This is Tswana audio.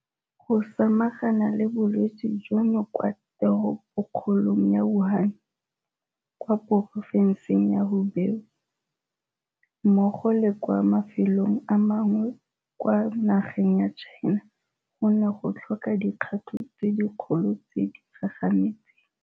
Go samagana le bolwetse jono kwa Teropokgolong ya Wuhan, kwa Porofenseng ya Hubei mmogo le kwa mafelong a mangwe kwa nageng ya China go ne go tlhoka dikgato tse dikgolo tse di gagametseng.